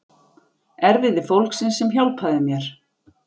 Erfiði fólksins sem hjálpaði mér.